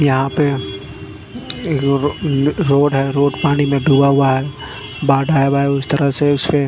यहाँ पे रोड है रोड पानी मे डूबा हुआ है बाड़ आया हुआ है उस तरह से उसपे--